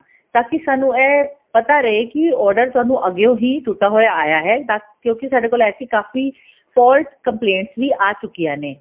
ਤਾਂ ਕੀ ਸਾਨੂੰ ਇਹ ਪਤਾ ਰਹੇ ਕੀ order ਤੁਹਾਨੂੰ ਅੱਗਿਓ ਹੀ ਟੁੱਟਾ ਹੋਇਆ ਆਇਆ ਹੈ ਕਿਉਂਕਿ ਸਾਡੇ ਕੋਲ ਐਸੀ ਕਾਫ਼ੀ fault complaint ਵੀ ਆ ਚੁੱਕੀਆਂ ਨੇ